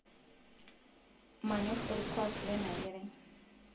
manyorr olkuak lena kerai